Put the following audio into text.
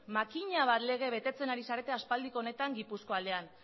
makina bat lege betetzen ari zarete aspaldiko honetan gipuzkoa aldean